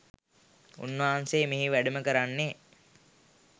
උන්වහන්සේ මෙහි වැඩම කරන්නේ